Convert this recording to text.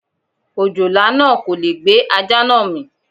Òjòlá náà kò lè gbé ajá náà mì.